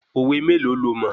Òwe méèlo lo mọ̀?